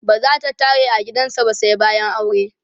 bazata tare a gidan sa ba sai bayan aure